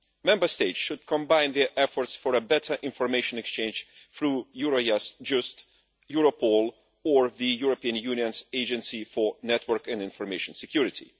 Member States should combine their efforts for a better information exchange through Eurojust, Europol or the European Union's Agency for Network and Information Security.